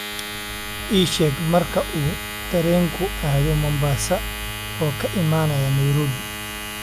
ii sheeg marka uu tareenku aado mombasa oo ka imanaya nairobi